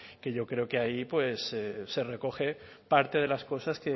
que yo creo que ahí se recogen parte de las cosas